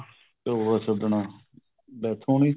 ਚੋਲਾ ਛੱਡਣਾ death ਹੋਣੀ